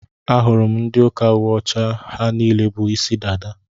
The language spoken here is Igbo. Ahụrụ m ndị ụka uwe ọcha, ha niile bú ịsị dada.